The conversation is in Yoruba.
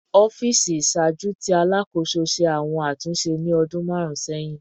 Ọfiisi iṣaaju ti Alakoso ṣe awọn atunṣe ni ọdun marun sẹhin